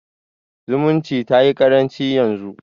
Zumunci tayi ƙaranci yanzu.